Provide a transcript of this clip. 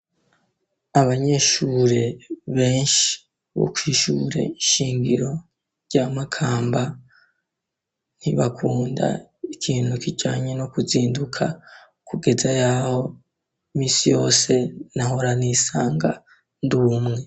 Abanyeshure ,benshi bokwishure ,ishingiro ,ry'amakamba ,ntibakunda ikintu, kijanye ,no kuzinduka, kugeza yaho ,misi yose nahora nisanga, ndumwe.